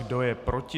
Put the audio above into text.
Kdo je proti?